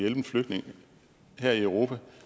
en flygtning her i europa